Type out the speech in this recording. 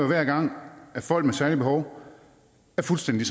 hver gang at folk med særlige behov er fuldstændig